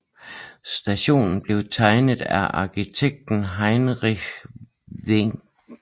Stationen blev tegnet af arkitekt Heinrich Wenck